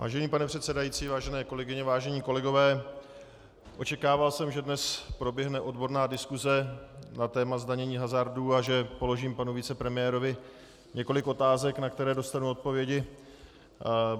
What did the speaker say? Vážený pane předsedající, vážené kolegyně, vážení kolegové, očekával jsem, že dnes proběhne odborná diskuse na téma zdanění hazardu a že položím panu vicepremiérovi několik otázek, na které dostanu odpovědi.